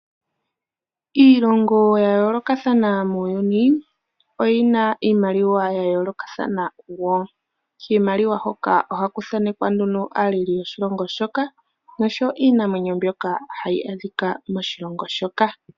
Iilongo ya yoolokathana muuyuni oyina iimaliwa ya yoolokathana. Kiimaliwa hoka ohaku thaanekwa aaleli yoshilongo shoka oshowo iinamwenyo mbyoka hayi adhika moshilongo shoka.